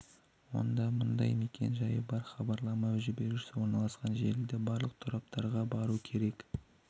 онда мұндай мекен-жайы бар хабарлама жіберушісі орналасқан желіде барлық тораптарға бару керек